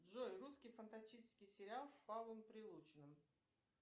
джой русский фантастический сериал с павлом прилучным